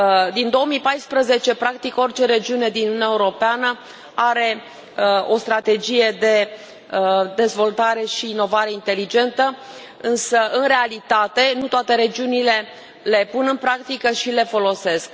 Din 2014, practic, orice regiune din Uniunea Europeană are o strategie de dezvoltare și inovare inteligentă, însă, în realitate, nu toate regiunile le pun în practică și le folosesc.